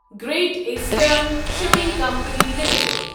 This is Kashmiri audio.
great eastern shipping company limited